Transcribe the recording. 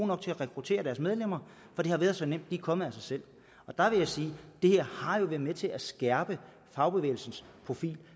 nok til at rekruttere deres medlemmer for det har været så nemt de er kommet af sig selv og der vil jeg sige det her har jo været med til at skærpe fagbevægelsens profil